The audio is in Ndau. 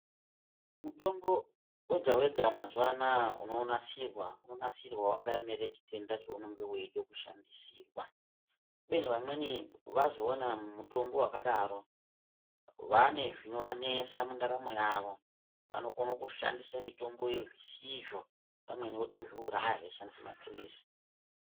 mutombo vega-vega mazuva anaya unonasirwa unonasirwa vakaemere chitenda chaunenge veida kushandisirwa. Kubeni vamweni vazoona mutombo vakadaro vane zvinovanesa mundaramo yavo. Vanokona kushandisa mutomboyo zvisizvo vamweni votozviuraya veishandise maphirizi.